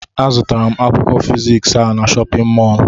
Azụtara m Akwụkwọ fiziks a n'shóppin mol